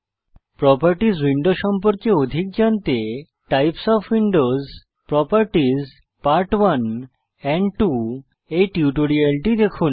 properties window সম্পর্কে অধিক জানতে types of Windows properties part 1 and 2 এই টিউটোরিয়ালটি দেখুন